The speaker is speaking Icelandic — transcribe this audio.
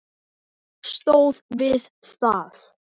Hún stóð við það!